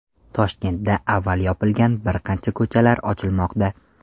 Toshkentda avval yopilgan bir qancha ko‘chalar ochilmoqda.